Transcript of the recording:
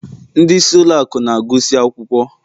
ndị isi ụlọ akụ na-agụsị akwụkwọ